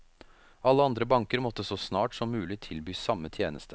Alle andre banker måtte så snart som mulig tilby samme tjeneste.